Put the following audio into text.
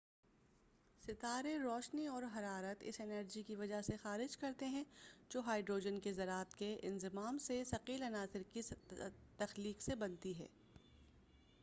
ستارے روشنی اور حرارت اس انرجی کی وجہ سےخارج کرتے ہیں جو ہائڈروجن کے ذرات کے انضمام سے ثقیل عناصر کی تخلیق سے بنتی ہے